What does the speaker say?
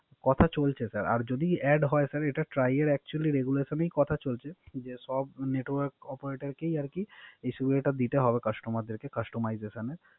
কথা চলছে স্যার। আর যদি Add হয় স্যার। এটা Try এর Actually regulation ই কথা চলছে। সব Network operator কেই আরকি এই সুবিধা টা আরকি দিতে হবে Customer কে Cunstomization